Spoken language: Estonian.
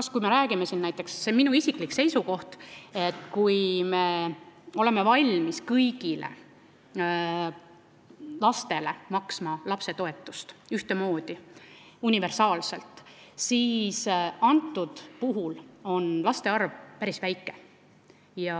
See on minu isiklik seisukoht, et kui me oleme valmis kõigile lastele maksma ühtemoodi universaalset lapsetoetust, siis võiks mõelda sellele, et antud juhul on nende laste arv päris väike ja